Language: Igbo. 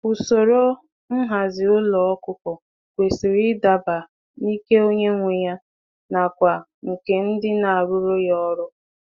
Ụzọ ụlọ zụ anụ ọkụkọ kwesịrị ị dabara ogo nka onye na-azụ na ikike ndị ọrụ dị.